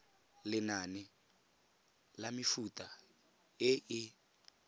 lenane la mefuta e e